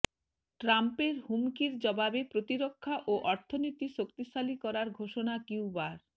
ট্রাম্পের হুমকির জবাবে প্রতিরক্ষা ও অর্থনীতি শক্তিশালী করার ঘোষণা কিউবার